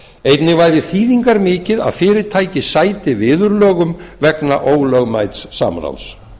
einnig væri þýðingarmikið að fyrirtæki sæti viðurlögum vegna ólögmæts samráðs